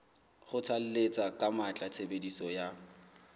kgothalletsa ka matla tshebediso ya